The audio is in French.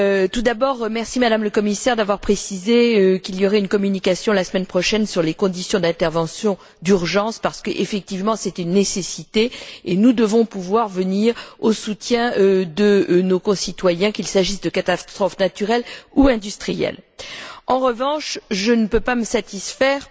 Tout d'abord, merci, Madame la Commissaire, d'avoir précisé qu'il y aurait une communication, la semaine prochaine, sur les conditions d'intervention d'urgence parce que, effectivement, c'est une nécessité et nous devons pouvoir venir au soutien de nos concitoyens, qu'il s'agisse de catastrophes naturelles ou industrielles. En revanche, je ne peux pas me satisfaire